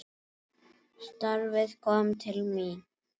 Starfið kom til mín!